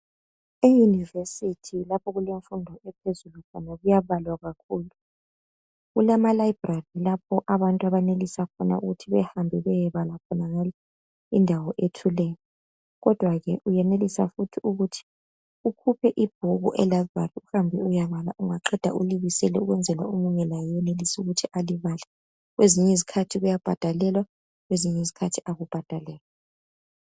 EYunivesithi lapho okulemfundo ephezulu khona kuyabalwa kakhulu. Kulama Library lapho abantu abenelisa khona ukuthi behambe beyebala khona indawo ethuleyo kodwa ke uyenelisa futhi ukuthi ukhuphe ibhuku e library uhambe uyebala ungaqeda ulibisele ukwenzela ukuthi omunye laye enelise ukuthi alibale kwezinye izikhathi kuyabhadalelwa kwezinye izikhathi akubhadalelwa.